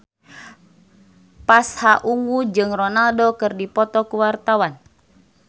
Pasha Ungu jeung Ronaldo keur dipoto ku wartawan